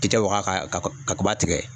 Tigɛ waga ka kaba tigɛ